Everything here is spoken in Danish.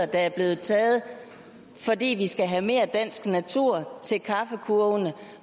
der er blevet taget fordi vi skal have mere dansk natur til kaffekurvene